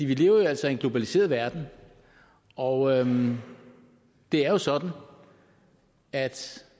vi lever jo altså i en globaliseret verden og det er sådan at